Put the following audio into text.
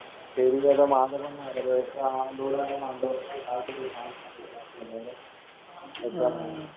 थेरीचं तर माझं पण नाही झालेलं. इतका लोड आहे ना. एक्झाममुळं